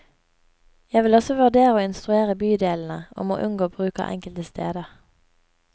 Jeg vil også vurdere å instruere bydelene om å unngå bruk av enkelte steder.